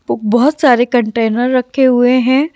बबहुत सारे कंटेनर रखे हुए हैं।